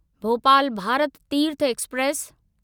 Bhopal Bharat Tirth express